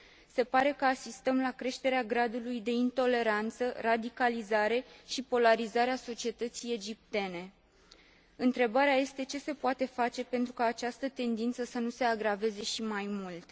Se pare că asistăm la creșterea gradului de intoleranță, radicalizare și polarizare a societății egiptene. Întrebarea este ce se poate face pentru ca această tendință să nu se agraveze și mai mult?